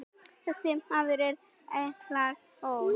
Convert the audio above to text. Þessi maður er Einar Ól.